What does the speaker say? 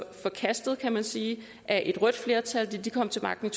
forkastet kan man sige af et rødt flertal da de kom til magten